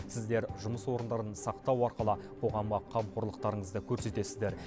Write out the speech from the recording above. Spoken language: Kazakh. сіздер жұмыс орындарын сақтау арқылы қоғамға қамқорлықтарыңызды көрсетесіздер